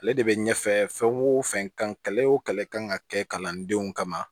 Ale de bɛ ɲɛfɛ fɛn wo fɛn kan kɛlɛ o kɛlɛ kan ka kɛ kalandenw kama